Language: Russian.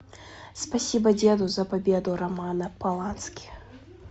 спасибо деду за победу романа полански